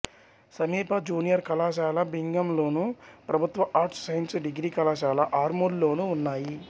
సమీప జూనియర్ కళాశాల భీంగల్లోను ప్రభుత్వ ఆర్ట్స్ సైన్స్ డిగ్రీ కళాశాల ఆర్మూర్లోనూ ఉన్నాయి